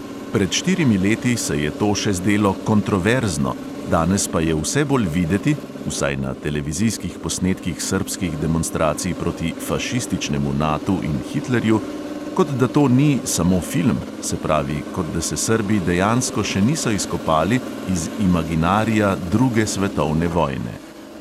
Pred štirimi leti se je to še zdelo "kontroverzno", danes pa je vse bolj videti – vsaj na televizijskih posnetkih srbskih demonstracij proti "fašističnemu" natu in hitlerju –, kot da to ni "samo film", se pravi, kot da se srbi dejansko še niso izkopali iz imaginarija druge svetovne vojne.